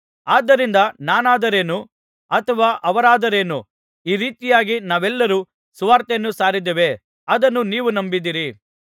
ಆದ್ದರಿಂದ ನಾನಾದರೇನು ಅಥವಾ ಅವರಾದರೇನು ಈ ರೀತಿಯಾಗಿ ನಾವೆಲ್ಲರೂ ಸುರ್ವಾತೆಯನ್ನು ಸಾರಿದ್ದೇವೆ ಅದನ್ನು ನೀವು ನಂಬಿದಿರಿ